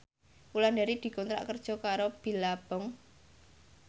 Wulandari dikontrak kerja karo Billabong